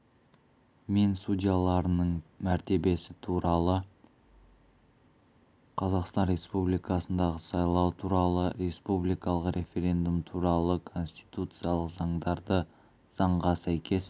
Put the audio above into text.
мен судьяларының мәртебесі туралы қазақстан республикасындағы сайлау туралы республикалық референдум туралы конституциялық заңдарды заңға сәйкес